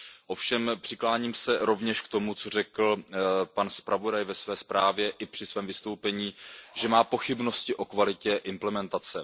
Ovšem přikláním se rovněž k tomu, co řekl pan zpravodaj ve své zprávě i při svém vystoupení, že má pochybnosti o kvalitě implementace.